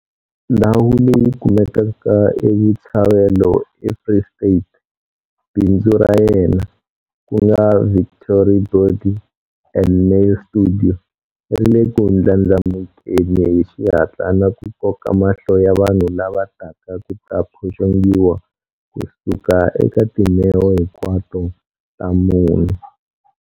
Ndhawu leyi kumekaka eBotshabelo eFree State, bindzu ra yena, ku nga Victory Body and Nail Studio, ri le ku ndlandlamukeni hi xihatla na ku koka mahlo ya vanhu lava taka ku ta phoxongiwa ku suka eka timheho hinkwato ta mune.